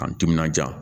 K'an timinanja